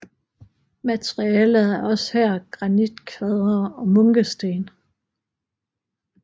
Materialet er også her granitkvadre og munkesten